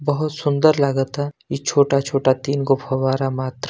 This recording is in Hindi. बहुत सुंदर लागत है ये छोटा छोटा तीनगो फ़वारा मात्र--